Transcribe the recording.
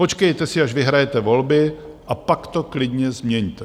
Počkejte si, až vyhrajete volby a pak to klidně změňte.